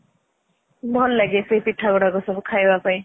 ଭଲ ଲାଗେ ସେ ପିଠା ଗୁଡାକ ସବୁ ଖାଇବା ପାଇଁ